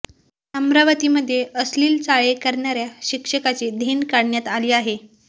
अमरावतीमध्ये अश्लील चाळे करणाऱ्या शिक्षकाची धिंड काढण्यात आली आहे